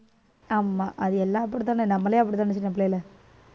ஆமா அது எல்லாம் அப்படித்தான நம்மளே அப்படித்தானே சின்னபிள்ளைல